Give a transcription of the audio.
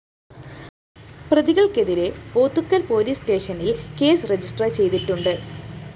പ്രതികള്‍ക്കെതിരെ Pothukal‍ police സ്‌റ്റേഷനില്‍ case register ചെയ്തിട്ടുണ്ട്